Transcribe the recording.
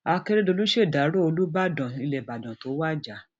akérèdolu ṣèdárò olùbàdàn ṣèdárò olùbàdàn ilẹ ìbàdàn tó wájà